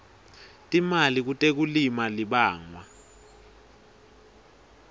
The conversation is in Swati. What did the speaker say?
timali kutekulima libangwa